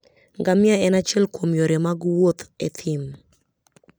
Ngamia en achiel kuom yore mag wuoth e thim.